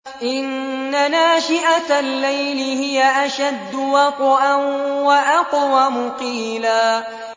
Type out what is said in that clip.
إِنَّ نَاشِئَةَ اللَّيْلِ هِيَ أَشَدُّ وَطْئًا وَأَقْوَمُ قِيلًا